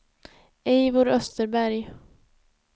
Eivor Österberg